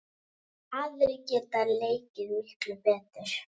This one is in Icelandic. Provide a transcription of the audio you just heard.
Aðrir geta leikið miklu betur.